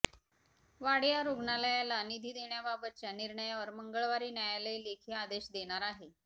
वाडीया रुग्णालयाला निधी देण्याबाबतच्या निर्णयावर मंगळवारी न्यायालय लेखी आदेश देणार आहे